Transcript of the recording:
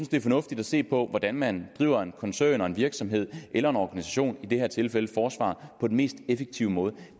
det er fornuftigt at se på hvordan man driver en koncern eller en virksomhed eller en organisation i det her tilfælde forsvaret på den mest effektive måde